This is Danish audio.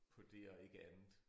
På det og ikke andet